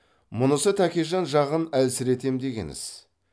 мұнысы тәкежан жағын әлсіретем деген іс